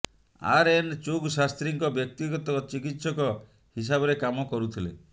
RN Chugh ଶାସ୍ତ୍ରୀଙ୍କ ବ୍ୟକ୍ତିଗତ ଚିକିତ୍ସକ ହିସାବରେ କାମ କରୁଥିଲେ